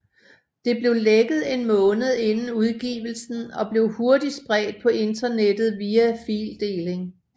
Det blev lækket en måned inden udgivelsen og blev hurtigt spredt på internettet via fildeling